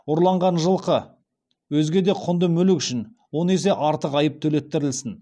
ұрланған жылқы өзге де құнды мүлік үшін он есе артық айып төлеттірілсін